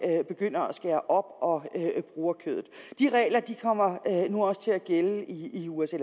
begynder at skære op og bruge kødet de regler kommer nu også til at gælde i usa